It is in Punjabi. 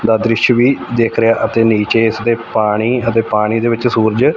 ਦਾ ਦ੍ਰਿਸ਼ ਵੀ ਦਿੱਖ ਰਿਹਾ ਅਤੇ ਨੀਚੇ ਇਸਦੇ ਪਾਣੀ ਅਤੇ ਪਾਣੀ ਦੇ ਵਿੱਚ ਸੂਰਜ--